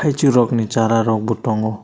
sorok ni sara rok bo tongo.